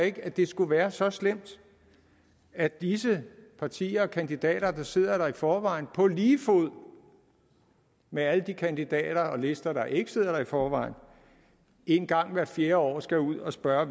ikke at det skulle være så slemt at disse partier og kandidater der sidder der i forvejen på lige fod med alle de kandidater og lister der ikke sidder der i forvejen en gang hvert fjerde år skal ud og spørge